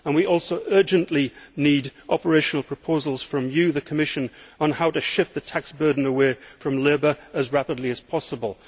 We also urgently need operational proposals from you, the Commission, on how to shift the tax burden away from labour as rapidly as possible.